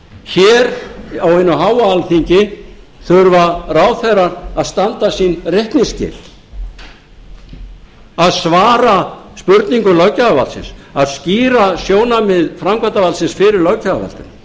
hér á hinu háa alþingi þurfa ráðherrar að standa sín reikningsskil að svara spurningum löggjafarvaldsins að skýra sjónarmið framkvæmdarvaldsins fyrir löggjafarvaldinu